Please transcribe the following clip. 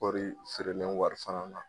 Kɔri feerelen wari fana na